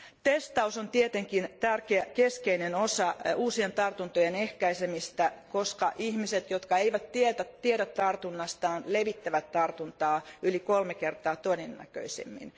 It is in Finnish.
Testaus on tietenkin tärkeä keskeinen osa uusien tartuntojen ehkäisemistä, koska ihmiset, jotka eivät tiedä tartunnastaan, levittävät tartuntaa yli kolme kertaa todennäköisemmin.